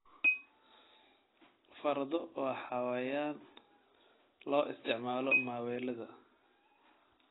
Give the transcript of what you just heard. Fardo waa xayawaan loo isticmaalo maaweelada.